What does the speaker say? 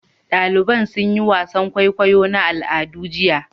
Daliban sun yi wasan kwaikwayo na al'ada jiya.